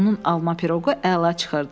Onun alma piroqu əla çıxırdı.